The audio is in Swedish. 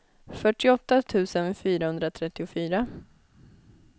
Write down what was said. fyrtioåtta tusen fyrahundratrettiofyra